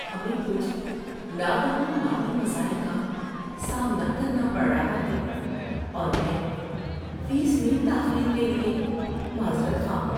ہمیں کچھ ناگہاں مالی مسائل کا سامنا کرنا پڑ رہا ہے اور میں فیس میں تاخیر کے لیے معذرت خواہ ہوں۔